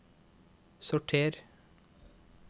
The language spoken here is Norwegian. sorter